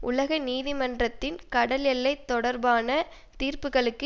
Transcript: உலக நீதிமன்றத்தின் கடல் எல்லை தொடர்பான தீர்ப்புக்களுக்கு